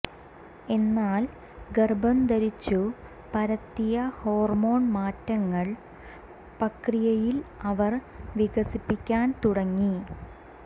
എന്നാൽ ഗർഭംധരിച്ചു പരത്തിയ ഹോർമോൺ മാറ്റങ്ങൾ പ്രക്രിയയിൽ അവർ വികസിപ്പിക്കാൻ തുടങ്ങി